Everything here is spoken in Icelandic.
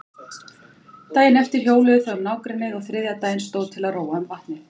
Daginn eftir hjóluðu þau um nágrennið og þriðja daginn stóð til að róa um vatnið.